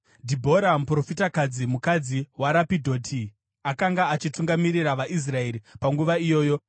Dhibhora, muprofitakadzi, mukadzi waRapidhoti, akanga achitungamirira vaIsraeri panguva iyoyo.